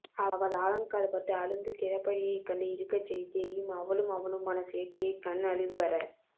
அவள் ஆழம் கால் பட்டு அழுந்து கிறபடியைக் கண்டு இருக்கச் செய்தேயும் அவளும் அவனுமான சேர்த்தியைக் கண் அழிவு அற